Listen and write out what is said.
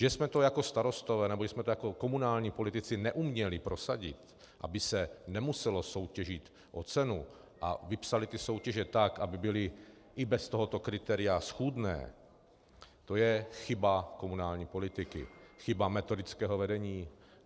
Že jsme to jako starostové nebo jako komunální politici neuměli prosadit, aby se nemuselo soutěžit o cenu, a vypsali ty soutěže tak, aby byly i bez tohoto kritéria schůdné, to je chyba komunální politiky, chyba metodického vedení.